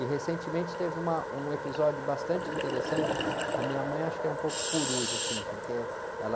E recentemente teve uma, um episódio bastante interessante, a minha mãe acho que é um pouco coruja, assim, porque ela